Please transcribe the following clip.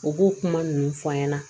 U b'o kuma ninnu fɔ an ɲɛna